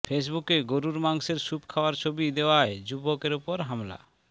ফেসবুকে গরুর মাংসের স্যুপ খাওয়ার ছবি দেওয়ায় যুবকের ওপর হামলা